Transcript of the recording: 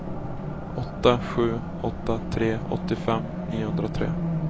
åtta sju åtta tre åttiofem niohundratre